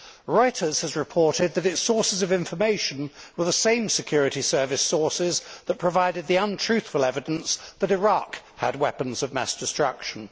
Reuters has reported that its sources of information were the same security service sources that provided the untruthful evidence that Iraq had weapons of mass destruction.